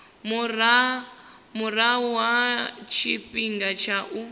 murahu ha tshifhinga tsha u